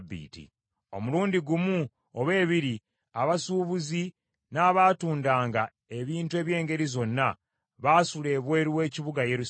Omulundi gumu oba ebiri, abasuubuzi n’abatundanga ebintu eby’engeri zonna baasula ebweru w’ekibuga Yerusaalemi.